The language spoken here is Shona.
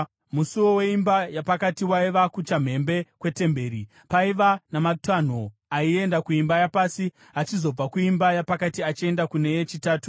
Musuo weimba yapakati waiva kuchamhembe kwetemberi, paiva namatanho aienda kuimba yapasi, achizobva kuimba yapakati achienda kune yechitatu.